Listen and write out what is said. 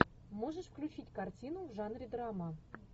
можешь включить картину в жанре драма